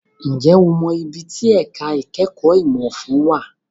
Ǹjẹ́ o mọ ibi tí ẹ̀ka ìkẹ́kọ̀ọ́ ìmọ̀ òfin wà?